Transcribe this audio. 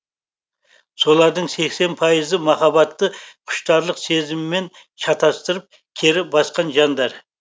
солардың сексен пайызы махаббатты құштарлық сезімімен шатастырып кері басқан жандар